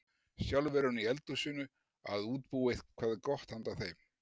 Sjálf er hún í eldhúsinu að útbúa eitthvað gott handa þeim.